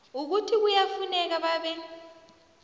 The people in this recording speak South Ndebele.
ukuthi kuyafuneka babe